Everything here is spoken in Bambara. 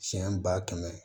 Siɲɛ ba kɛmɛ